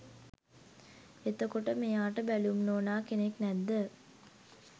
එතකොට මෙයාට බැලුම් නෝනා කෙනෙක් නැද්ද?